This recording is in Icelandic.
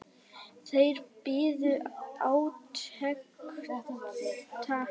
Þeir biðu átekta.